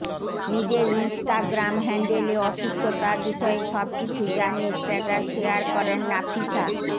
নিজের ইনস্টাগ্রাম হ্যান্ডেলে অসুস্থতার বিষয়ে সবকিছু জানিয়ে স্টেটাস শেয়ার করেন নাফিসা